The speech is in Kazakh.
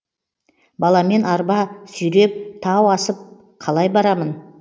баламен арба сүйреп тау асып қалай барамын